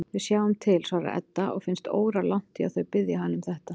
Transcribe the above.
Við sjáum til, svarar Edda og finnst óralangt í að þau biðji hana um þetta.